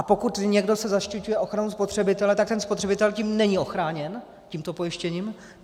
A pokud se někdo zaštiťuje ochranou spotřebitele, tak ten spotřebitel tím není ochráněn, tímto pojištěním.